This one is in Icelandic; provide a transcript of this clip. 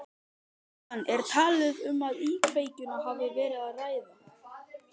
Jóhann, er talið að um íkveikju hafi verið að ræða?